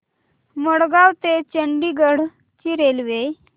मडगाव ते चंडीगढ ची रेल्वे